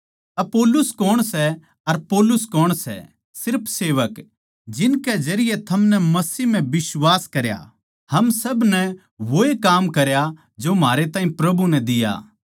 अपुल्लोस कौन सै अर पौलुस कौन सै सिर्फ सेवक जिनकै जरिये थमनै मसीह म्ह बिश्वास करया हम सब नै वोए काम करया जो म्हारे ताहीं प्रभु नै दिया